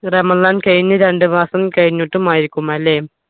റമദാൻ കഴിഞ്ഞു രണ്ടുമാസം കഴിഞ്ഞിട്ടും ആയിരിക്കും അല്ലേ